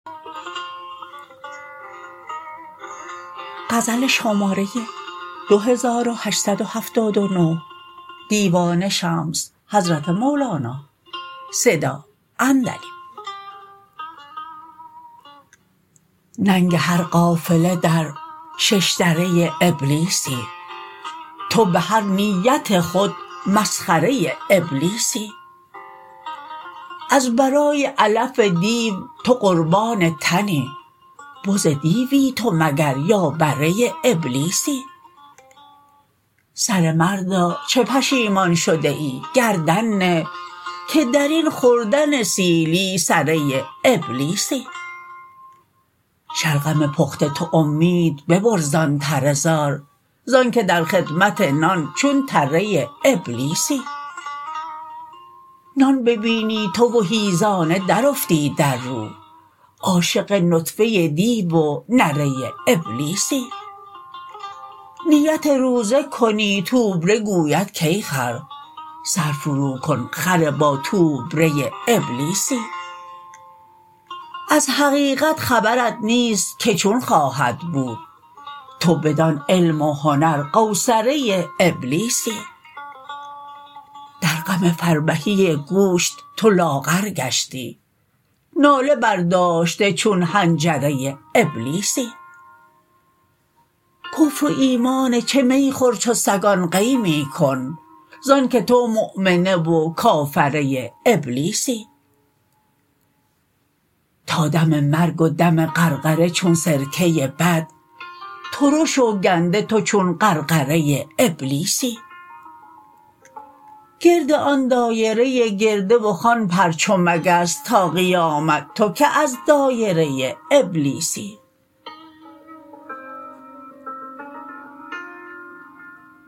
ننگ هر قافله در شش دره ابلیسی تو به هر نیت خود مسخره ابلیسی از برای علف دیو تو قربان تنی بز دیوی تو مگر یا بره ابلیسی سره مردا چه پشیمان شده ای گردن نه که در این خوردن سیلی سره ابلیسی شلغم پخته تو امید ببر زان تره زار ز آنک در خدمت نان چون تره ابلیسی نان ببینی تو و حیزانه درافتی در رو عاشق نطفه دیو و نره ابلیسی نیت روزه کنی توبره گوید کای خر سر فروکن خر باتوبره ابلیسی از حقیقت خبرت نیست که چون خواهد بود تو بدان علم و هنر قوصره ابلیسی در غم فربهی گوشت تو لاغر گشتی ناله برداشته چون حنجره ابلیسی کفر و ایمان چه می خور چو سگان قی می کن ز آنک تو مؤمنه و کافره ابلیسی تا دم مرگ و دم غرغره چون سرکه بد ترش و گنده تو چون غرغره ابلیسی گرد آن دایره گرده و خوان پر چو مگس تا قیامت تو که از دایره ابلیسی